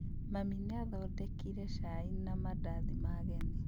Mami nĩathondekire cai na mandathi ma ageni